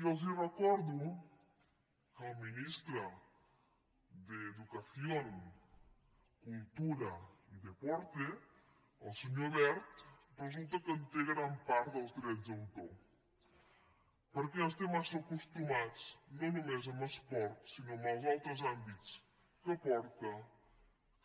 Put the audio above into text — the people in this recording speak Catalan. i els recordo que el ministre d’educación cultura y deporte el se·nyor wert resulta que té gran part dels drets d’autor perquè ens té massa acostumats no només en esport sinó en els altres àmbits que porta